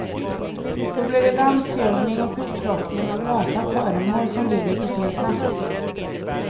Då blir det dammsugning och upplockning av lösa föremål som ligger på fel plats.